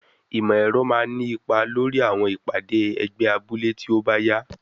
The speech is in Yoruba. Ìmọ̀ ẹ̀rọ máa ní ipa lórí àwọn ìpàdé ẹgbẹ́ abúlé tí ó bá yá.